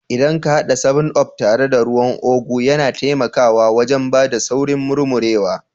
Idan ka hada 7up tare da ruwan ugu, yana taimakawa wajen ba da saurin murmurewa